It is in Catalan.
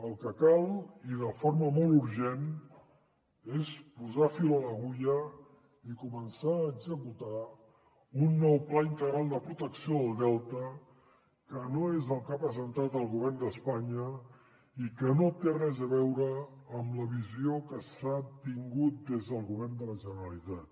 el que cal i de forma molt urgent és posar fil a l’agulla i començar a executar un nou pla integral de protecció del delta que no és el que ha presentat el govern d’espanya i que no té res a veure amb la visió que s’ha tingut des del govern de la generalitat